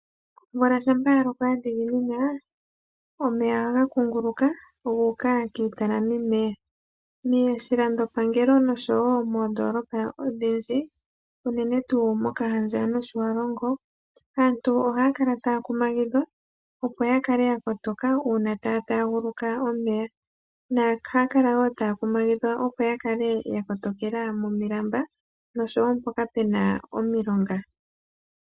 Omvula shampaa yaloko yadhiginina, omeya aga kunguluka guuka kiitalami meya, moshilando pangelo noshowo moodolopa odhi ndji , unene tuu mokahandja noshiwalongo. aantu ohakala takuma gidhwa opo yakale yakotoka uuna taa taguluka omeya. noha kalawo taa kumagidhwa opo yakale yakotekela momilamba noshowo mpoka pena omilonga.